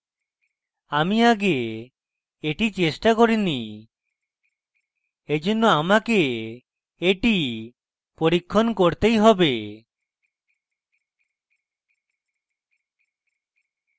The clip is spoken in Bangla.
আমি আগে এটি চেষ্টা করিনি এইজন্য আমাকে এটি পরীক্ষণ করতেই have